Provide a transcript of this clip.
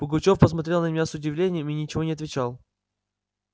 пугачёв посмотрел на меня с удивлением и ничего не отвечал